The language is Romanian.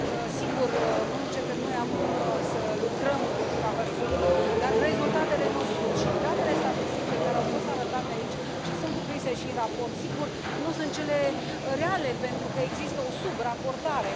sigur, nu începem noi acum să lucrăm împotriva hărțuirii, dar rezultatele nu sunt și datele statistice care au fost arătate aici și sunt cuprinse și în raport, sigur, nu sunt cele reale, pentru că există o sub raportare.